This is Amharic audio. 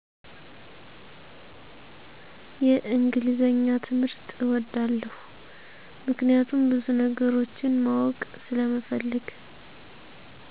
የእንግሊዘኛ ትምህርት እወደዋለሁ ምክኒያቱም ብዙነገሮችን ማወቅ ስለምፈልግ